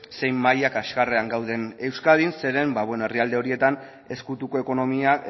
zein maila kaskarrean gauden euskadin zeren herrialde horietan ezkutuko ekonomia